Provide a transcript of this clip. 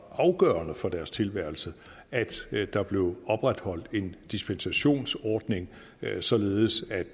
afgørende for deres tilværelse at der bliver opretholdt en dispensationsordning således at